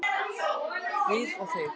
Við og þeir